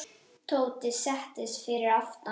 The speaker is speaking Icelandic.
Tóti settist fyrir aftan.